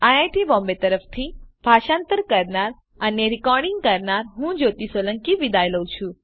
IIT Bombay તરફથી ભાષાંતર કરનાર હું જ્યોતી સોલંકી વિદાય લઉં છું